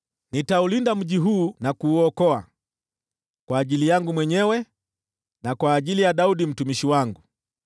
“Nitaulinda mji huu na kuuokoa, kwa ajili yangu mwenyewe, na kwa ajili ya Daudi mtumishi wangu!”